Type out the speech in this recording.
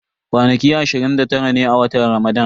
Kwanaki ashirin da tara ne a watan Ramadan.